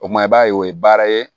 O kuma i b'a ye o ye baara ye